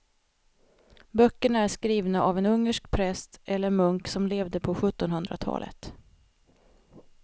Böckerna är skrivna av en ungersk präst eller munk som levde på sjuttonhundratalet.